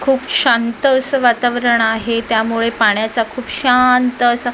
खूप शांत असं वातावरण आहे त्यामुळे पाण्याचा खूप शांत असा--